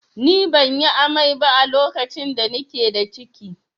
Ni ban yi amai ba a lokacin da na ke da ciki